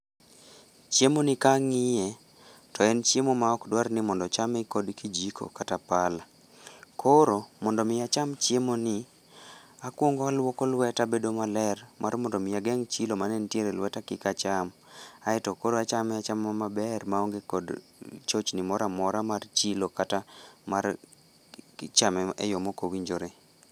Chiemoni kang'iye, to en chiemo ma ok dwar ni mondo ochame kod kijiko kata pala. Koro mondo omi acham chiemoni, akwongo alwoko lweta bedo maler, mar mondo omi ageng' chilo mane nitiere lweta kik acham, aeto koro achame achama maber maonge kod chochni mora mora mar chilo kata mar chame e yo mok owinjore.